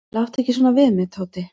"""Láttu ekki svona við mig, Tóti."""